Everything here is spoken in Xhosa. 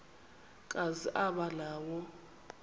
kazi aba nawo